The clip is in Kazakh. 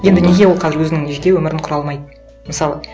енді неге ол қазір өзінің жеке өмірін құра алмайды мысалы